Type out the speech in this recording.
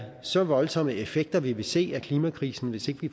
så voldsomme effekter vi vil se af klimakrisen hvis ikke vi